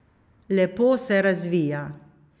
Lepo se razvija.